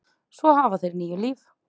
Svo hafa þeir níu líf.